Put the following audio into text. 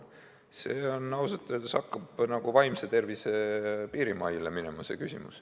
See küsimus ausalt öeldes hakkab nagu vaimse tervise piirimaile minema.